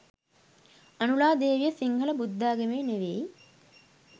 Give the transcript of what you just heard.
අනුලා දේවිය සිංහල බුද්ධාග‍මේ නෙවෙයි